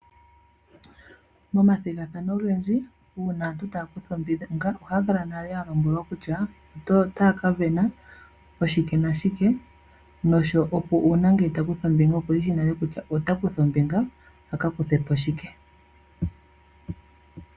Momathigathano ogendji uuna aantu taa kutha ombinga ohaa kala nale ya lombwelwa kutya otaa ka vena oshike nashike nuuna ngele ta kutha ombinga okushi shi nale kutya ota kutha ombinga a ka kuthe po shike.